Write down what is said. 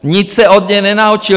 Nic se od něj nenaučil!